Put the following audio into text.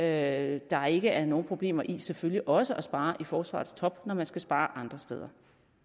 at der ikke er nogen problemer i selvfølgelig også at spare i forsvarets top når man skal spare andre steder